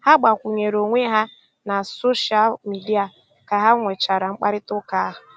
Ha gbàkwùnyèrè onwé ha na sóshal mìdia kà ha nwechàra mkpáịrịtà ụ́ka.